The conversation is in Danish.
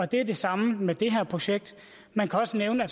det er det samme med det her projekt man kan også nævne at